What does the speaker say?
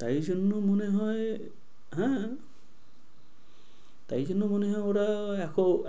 তাই জন্য মনে হয়, হ্যাঁ, তাই জন্য মনে হয় ওরা